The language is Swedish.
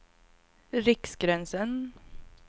Riksgränsen